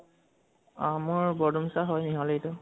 অ মোৰ বৰদুমচা টো